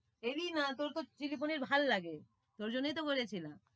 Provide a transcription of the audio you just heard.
এলি না, তোর তো চিলি পনির ভালোলাগে, ওই জন্যই তো বলেছিলাম।